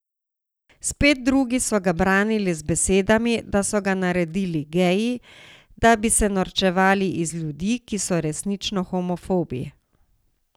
Spet drugi so ga branili z besedami, da so ga naredili geji, da bi se norčevali iz ljudi, ki so resnično homofobi.